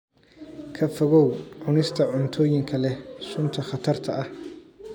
Ka fogow cunista cuntooyinka leh sunta khatarta ah.